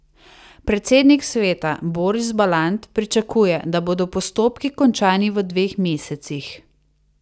Predsednik sveta Boris Balant pričakuje, da bodo postopki končani v dveh mesecih.